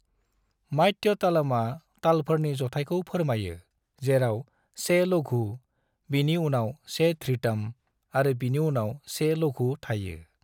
मात्यतालमआ तालफोरनि जथायखौ फोरामायो जेराव 1 लघु, बिनि उनाव 1 धृतम् आरो बिनि उनाव 1 लघु थायो।